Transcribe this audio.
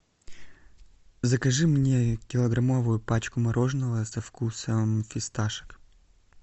закажи мне килограммовую пачку мороженого со вкусом фисташек